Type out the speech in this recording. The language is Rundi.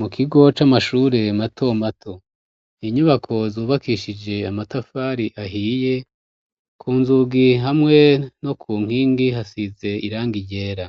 Mu kigo c'amashure mato mato, inyubako zubakishije amatafari ahiye, ku nzugi hamwe no ku nkingi hasize irangi ryera